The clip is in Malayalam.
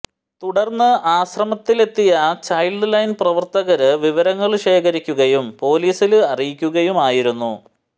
തുടര്ന്ന് ആശ്രമത്തിലെത്തിയ ചൈല്ഡ് ലൈന് പ്രവര്ത്തകര് വിവരങ്ങള് ശേഖരിക്കുകയും പൊലീസില് അറിയിക്കുകയുമായിരുന്നു